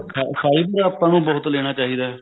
fiber ਆਪਾਂ ਨੂੰ ਬਹੁਤ ਲੇਣਾ ਚਾਹਿਦਾ